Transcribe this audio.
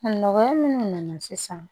Nɔgɔya minnu nana sisan